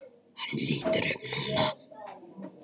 Hann lítur upp núna.